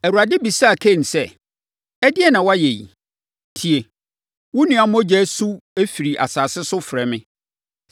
Awurade bisaa Kain sɛ, “Ɛdeɛn na woayɛ yi? Tie! Wo nua mogya su firi asase so frɛ me.